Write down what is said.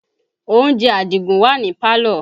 Oúnjẹ Àdìgún wà ní pálọ̀